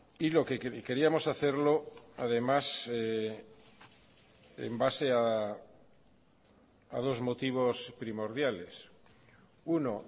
y lo que queríamos hacerlo además en base a dos motivos primordiales uno